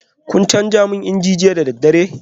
Kun canza man inji jiya da daddare?